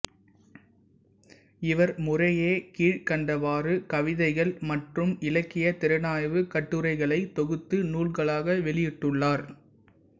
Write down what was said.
இவர் முறையே கீழ்க்கண்டவாறு கவிதைகள் மற்றும் இலக்கியத் திறனாய்வு கட்டுரைகளை தொகுத்து நூல்களாக வெளியிட்டுள்ளார்